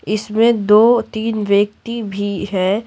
इसमें दो तीन व्यक्ति भी हैं।